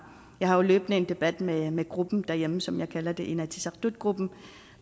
jeg har jo løbende en debat med med gruppen derhjemme som jeg kalder inatsisartutgruppen